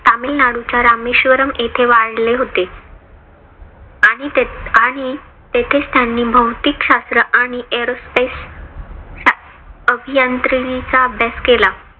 तामिळनाडूच्या रामेश्वरम येथे वाढले होते. आणि त्या आणि तेथेच त्यांनी भौतिकशास्त्र आणि aerospace अभियांत्रिकीचा अभ्यास केला.